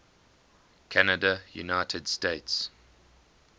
canada united states